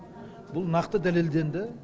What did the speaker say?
бұл нақты дәлелденді